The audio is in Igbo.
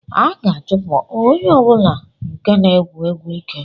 A ga-achụpụ onye ọ bụla nke na-egwu egwu ike